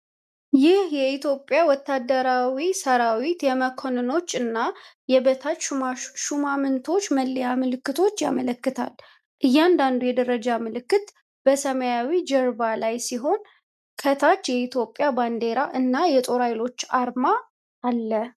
ይህ የኢትዮጵያ ወታደራዊ ሠራዊት የመኮንኖች እና የበታች ሹማምንቶች መለያ ምልክቶችን ያመለክታል። እያንዳንዱ የደረጃ ምልክት በሰማያዊ ጀርባ ላይ ሲሆን፣ ከታች የኢትዮጵያ ባንዲራ እና የጦር ኃይሎች አርማ አለ።